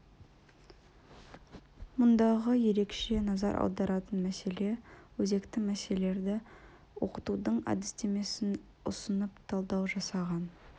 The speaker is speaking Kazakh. мұндағы ерекше назар аударатын мәселе өзекті мәселелерді оқытудың әдістемесін ұсынып талдау жасаған